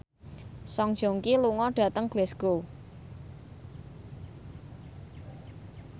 Song Joong Ki lunga dhateng Glasgow